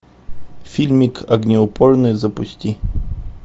фильмик огнеупорный запусти